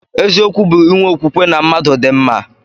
Eziokwu bu inwe okwukwe na mmadu di mma.